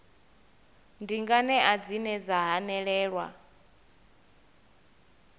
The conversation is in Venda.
ndi nganea dzine dza hanelelwa